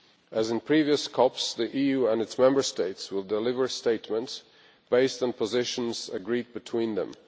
As in previous CoPs, the EU and its Member States will deliver statements based on positions agreed between them.